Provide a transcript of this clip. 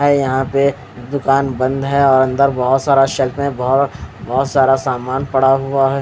यहाँ पे दुकान बंद है और अंदर बोहोत सारा शेल्फ है बोहोत बोहोत सारा सामान पड़ा हुआ है--